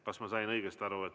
Kas ma sain õigesti aru?